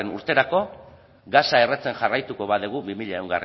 urterako gasa erretzen jarraituko badugu bi mila